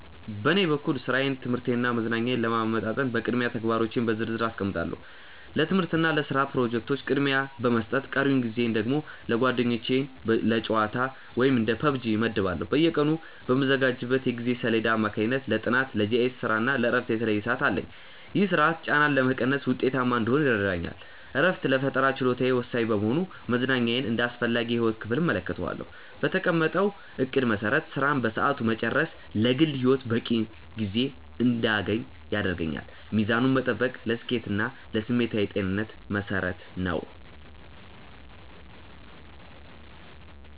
በኔ በኩል ሥራዬን ትምህርቴንና መዝናኛዬን ለማመጣጠን በቅድሚያ ተግባሮቼን በዝርዝር አስቀምጣለሁ። ለትምህርትና ለስራ ፕሮጀክቶች ቅድሚያ በመስጠት ቀሪውን ጊዜ ደግሞ ለጓደኞችና ለጨዋታ (እንደ PUBG) እመድባለሁ። በየቀኑ በምዘጋጀው የጊዜ ሰሌዳ አማካኝነት ለጥናት፣ ለGIS ስራና ለእረፍት የተለየ ሰዓት አለኝ። ይህ ስርዓት ጫናን በመቀነስ ውጤታማ እንድሆን ይረዳኛል። እረፍት ለፈጠራ ችሎታዬ ወሳኝ በመሆኑ መዝናኛን እንደ አስፈላጊ የህይወት ክፍል እመለከተዋለሁ። በተቀመጠው እቅድ መሰረት ስራን በሰዓቱ መጨረስ ለግል ህይወቴ በቂ ጊዜ እንድያገኝ ያደርገኛል። ሚዛኑን መጠበቅ ለስኬቴና ለስሜታዊ ጤንነቴ መሰረት ነው።